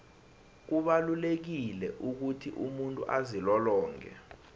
kubalulekile ukuthi umuntu azilolonge